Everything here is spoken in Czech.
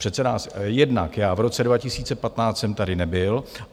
Přece nás - jednak já v roce 2015 jsem tady nebyl.